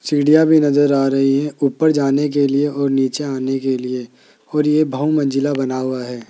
सीढ़ियां भी नजर आ रही है ऊपर जाने के लिए और नीचे आने के लिए और ये बहु मंजिला बना हुआ है।